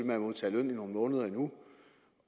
med at modtage løn i nogle måneder endnu